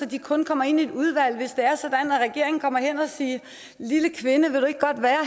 de kun kommer ind i et udvalg hvis regeringen kommer hen og siger lille kvinde vil du ikke godt være